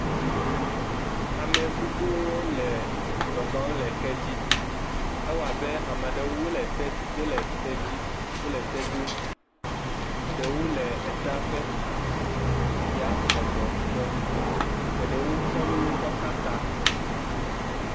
ame gbogbó le zɔzɔ le kedzi ewɔbe amaɖewo wóle tedzi wóle te dom eɖewo le ta ƒe xa ya sɔgbɔ ŋtɔ eɖewo kɔ nu kɔ xe ta